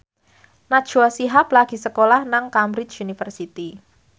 Najwa Shihab lagi sekolah nang Cambridge University